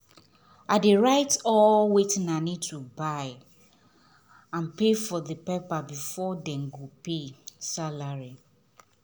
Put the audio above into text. i dey write all wetin i need to buy and pay for for paper before them go pay salary